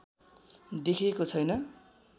देखिएको छैन